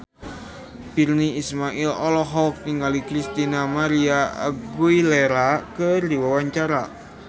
Virnie Ismail olohok ningali Christina María Aguilera keur diwawancara